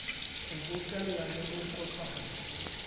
ho bokella le ho kopanya